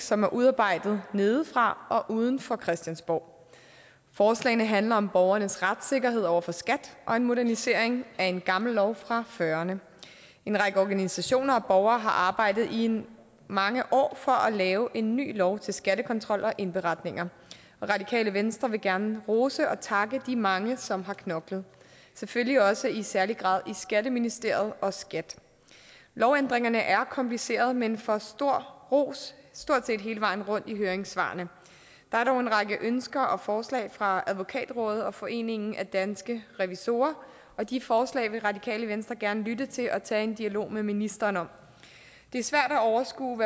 som er udarbejdet nedefra og uden for christiansborg forslagene handler om borgernes retssikkerhed over for skat og en modernisering af en gammel lov fra nitten fyrrerne en række organisationer og borgere har arbejdet i mange år for at lave en ny lov til skattekontrol og indberetninger og radikale venstre vil gerne rose og takke de mange som har knoklet selvfølgelig også i særlig grad i skatteministeriet og skat lovændringerne er komplicerede men får stor ros stort set hele vejen rundt i høringssvarene der er dog en række ønsker og forslag fra advokatrådet og foreningen danske revisorer og de forslag vil radikale venstre gerne lytte til og tage en dialog med ministeren om det er svært at overskue